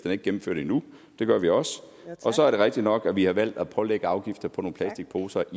er ikke gennemført endnu så er det rigtigt nok at vi har valgt at pålægge afgifter på nogle plastikposer